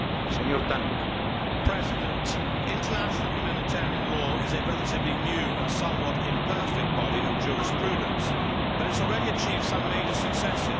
Mr President, international humanitarian law is a relatively new and somewhat imperfect body of jurisprudence, but it has already achieved some major successes.